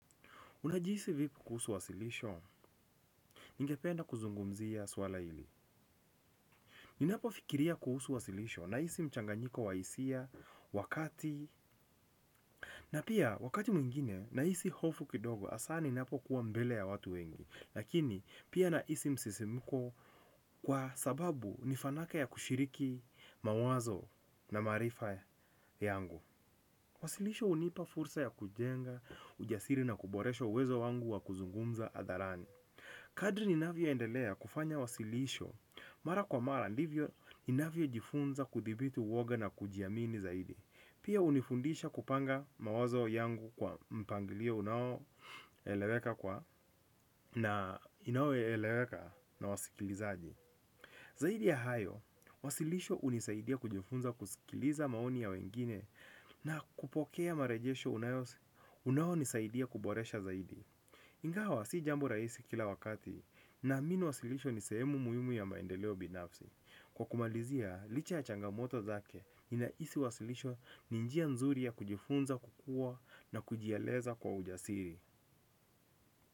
Unajihisi vipi kuhusu wasilisho ningependa kuzungumzia swala hili ninapofikiria kuhusu wasilisho nina hisi mchanganyiko wa hisi wakati na pia wakati mwingine nahisi hofu kidogo hasa ninapokuwa mbele ya watu wengi na pia nahisi msisimuko kwa sababu ni fanaka ya kushiriki mawazo na maarifa yangu. Wasilisho unipa fursa ya kujenga, ujasiri na kuboresho uwezo wangu wa kuzungumza adharani. Kadri ni navyo endelea kufanya wasilisho, mara kwa mara ndivyo ni navyo jifunza kudhibiti woga na kujiamini zaidi. Pia unifundisha kupanga mawazo yangu kwa mpangilio unao eleweka kwa na inawo eleweka na wasikilizaaji. Zaidi ya hayo, wasilisho unisaidia kujifunza kusikiliza maoni ya wengine na kupokea marejesho unayosi unao nisaidia kuboresha zaidi. Ngawa si jambo raisi kila wakati naamini wasilisho nisehemu muimu ya maendeleo binafsi. Kwa kumalizia, licha ya changamoto zake inaisi wasilisho ninjia nzuri ya kujifunza kukua na kujialeza kwa ujasiri.